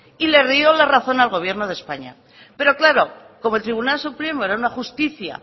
y le rió la razón al gobierno de españa pero claro como el tribunal supremo era una justicia